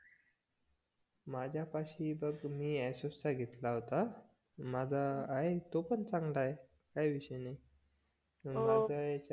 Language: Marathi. माझ्यापासी बघ मी आसूसच घेतला होता माझा आहे तो पण चांगला आहे काही विषय नाही